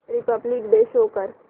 Republic Day show कर